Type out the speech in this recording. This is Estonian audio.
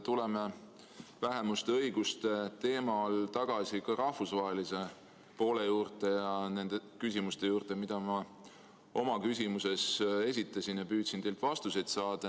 Tuleme vähemuste õiguste teema all tagasi ka rahvusvahelise poole juurde ja nende küsimuste juurde, mis ma oma küsimuses esitasin ja millele püüdsin teilt vastuseid saada.